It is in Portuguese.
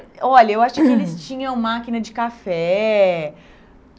Olha, eu acho que eles tinham máquina de café.